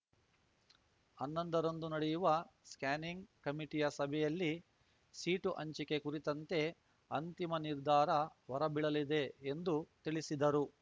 ಅನ್ನೊಂದರರಂದು ನಡೆಯುವ ಸ್ಕ್ಯಾನಿಂಗ್ ಕಮಿಟಿಯ ಸಭೆಯಲ್ಲಿ ಸೀಟು ಹಂಚಿಕೆ ಕುರಿತಂತೆ ಅಂತಿಮ ನಿರ್ಧಾರ ಹೊರಬೀಳಲಿದೆ ಎಂದು ತಿಳಿಸಿದರು